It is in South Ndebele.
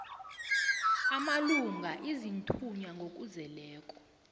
amalunga aziinthunywa ngokuzeleko